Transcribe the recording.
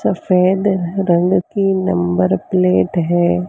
सफेद रंग की नंबर प्लेट है।